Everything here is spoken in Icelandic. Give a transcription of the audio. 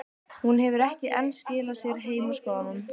Hún hefur ekki enn skilað sér heim úr skólanum.